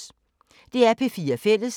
DR P4 Fælles